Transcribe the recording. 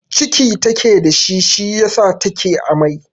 Ciki take da shi, shi yasa take amai.